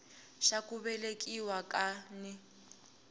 xa ku velekiwa ka n